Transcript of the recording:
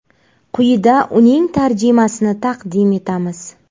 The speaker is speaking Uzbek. Quyida uning tarjimasini taqdim etamiz.